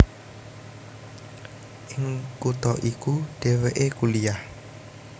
Ing kutha iku dhèwèké kuliah